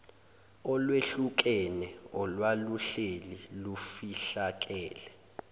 olwehlukene olwaluhleli lufihlakele